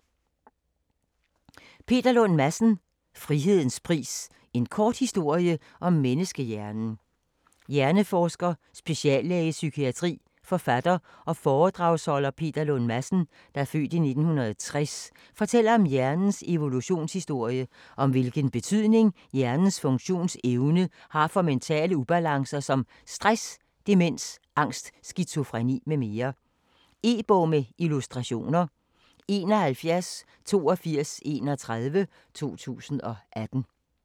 Lund Madsen, Peter: Frihedens pris - en kort historie om menneskehjernen Hjerneforsker, speciallæge i psykiatri, forfatter og foredragsholder Peter Lund Madsen (f. 1960) fortæller om hjernens evolutionshistorie, og om hvilken betydning hjernens funktionsevne har for mentale ubalancer som stress, demens, angst, skizofreni mm. E-bog med illustrationer 718231 2018.